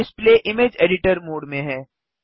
display image editor mode में है